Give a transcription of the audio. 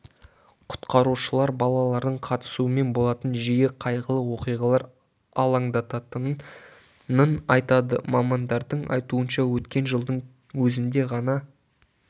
құтқарушылар балалардың қатысуымен болатын жиі қайғылы оқиғалар алаңдататынын айтады мамандардың айтуынша өткен жылдың өзінде ғана